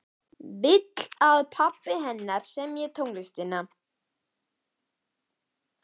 Vill að pabbi hennar semji tónlistina.